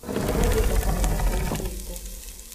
Ũmũthĩ thoko nĩ ĩkũihũrĩte